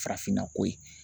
Farafinna ko ye